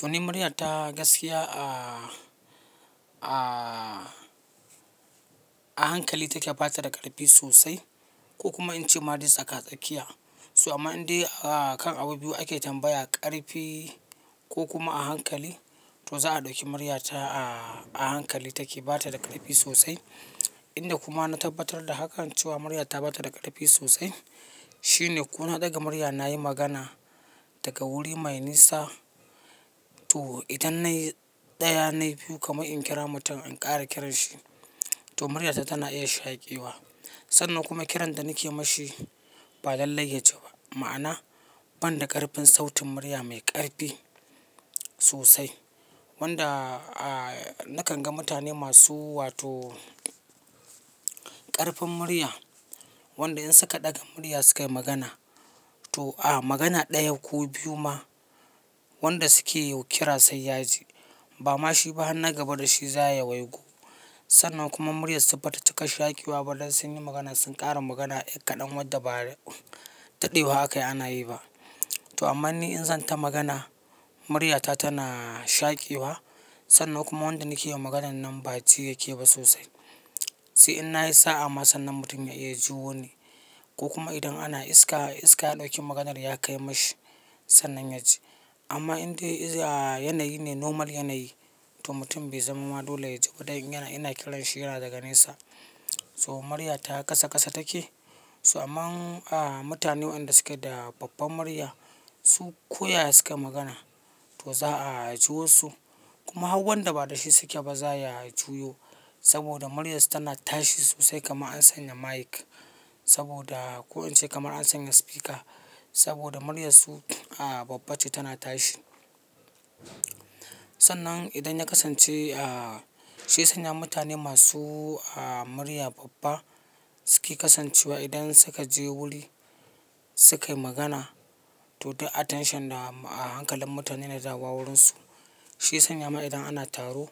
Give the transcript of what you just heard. To, ni murya ta gaskiya a hankali take bata da ƙarfi sosai ko kuma in ce maris tsaka-tsakiya. Amma indai kan abu biyu ake tambaya, ƙarfi ko kuma a hankali, to za a ɗauki murya ta a hankali take bata da ƙarfi sosai. Indai kuma na tabbatar da hakan cewa murya ta bata da ƙarfi sosai shine ko na ɗaga murya na yi magana daga wuri mai nisa, to idan na yi ɗaya nayi biyu kamar in kira mutum in ƙara kiranshi, to muryata tana iya shaƙewa. Sannan kuma kiran da nake mashi ba lallai yaji ba. Ma'ana, ban da ƙarfin sautin murya mai ƙarfi sosai wanda nakan ga mutane masu wato ƙarfin murya wanda in suka ɗaga murya sukayi magana to a magana ɗaya ko biyu ma wanda suke kira sai yaji. Ba ma shi ba na gaba da shi za ya waigo. Sannan kuma muryarsu bata cika shaƙewa ba. Dan sun yi magana sun ƙara magana kadan wadda ba daɗewa haka ana yi ba. To amma ni in zan ta magana muryata tana shaƙewa sannan kuma wanda nake yin maganan nan ba ji yake ba sosai. Sai in na yi sa'a ma sannan mutum ya iya jiwuni ko kuma idan ana iska, iska ɗauki maganar ya kai mashi sannan yaji. Amma indai yanayi ne normal yanayi to mutum bai zama ma dole yaji ba dan yana ina kiran shi yana daga nesa. To murya ta ƙasa ƙasa take. Amma mutane waɗanda suke da babbar murya su koya sukayi magana to za a ji wasu. Kuma har wan da ba da shi suke ba za a yi juyo saboda muryarsu tana tashi sosai kamar an sanya mic saboda ko in ce kamar an sanya speaker saboda muryarsu babba ce tana tashi. Sannan idan ya kasance shi sanya mutane masu murya babba suke kasancewa idan suka je wuri sukayi magana to duk attention a hankalin mutane na dawowa wurinsu. Shi sanya ma idan ana taro